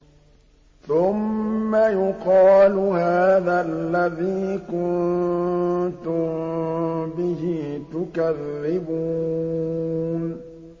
ثُمَّ يُقَالُ هَٰذَا الَّذِي كُنتُم بِهِ تُكَذِّبُونَ